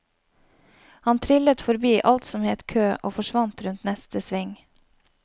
Han triller forbi alt som het kø og forsvant rundt neste sving.